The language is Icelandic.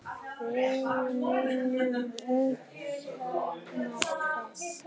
Við munum öll sakna þess.